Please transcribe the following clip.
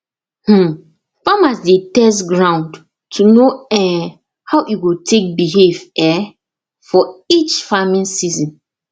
um farmers dey test ground to know um how e go take behave um for each farming season